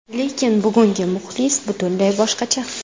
Lekin bugungi muxlis butunlay boshqacha.